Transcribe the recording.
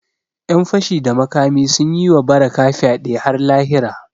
Ƴan fashi da makami sun yi wa Barakah fyade har lahira